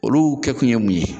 Olu kɛkun ye mun ye